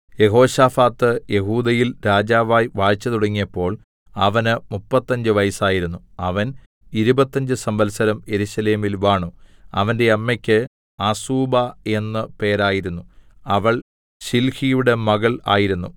യെഹോശാഫാത്ത് യെഹൂദയിൽ രാജാവായി വാഴ്ച തുടങ്ങിയപ്പോൾ അവന് മുപ്പത്തഞ്ചു വയസ്സായിരുന്നു അവൻ ഇരുപത്തഞ്ച് സംവത്സരം യെരൂശലേമിൽ വാണു അവന്റെ അമ്മയ്ക്ക് അസൂബാ എന്ന് പേരായിരുന്നു അവൾ ശിൽഹിയുടെ മകൾ ആയിരുന്നു